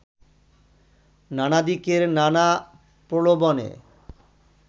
নানাদিকের নানা প্রলোবনে